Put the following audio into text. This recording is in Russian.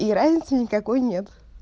и разницы никакой нет